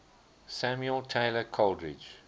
samuel taylor coleridge